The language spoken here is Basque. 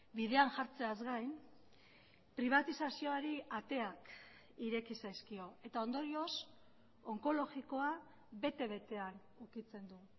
bidean jartzeaz gain pribatizazioari ateak ireki zaizkio eta ondorioz onkologikoa bete betean ukitzen du